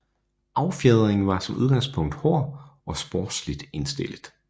Affjedringen var som udgangspunkt hård og sportsligt indstillet